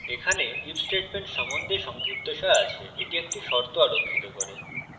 এখানে if statement সম্বন্ধে সংক্ষিপ্তসার আছে এটি একটি শর্ত আরোক্ষিত করে